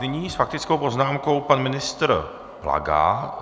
Nyní s faktickou poznámkou pan ministr Plaga.